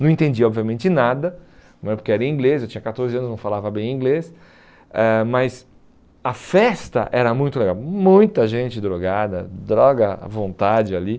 Não entendi obviamente nada né, porque era em inglês, eu tinha catorze anos, não falava bem inglês, eh mas a festa era muito legal, muita gente drogada, droga à vontade ali.